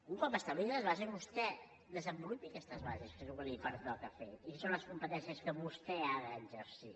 un cop establertes les bases vostè desenvolupi aquestes bases que és el que li pertoca fer i que són les competències que vostè ha d’exercir